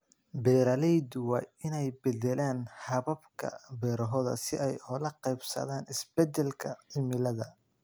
Beeraleydu waa inay beddelaan hababka beerahooda si ay ula qabsadaan isbedelka cimilada.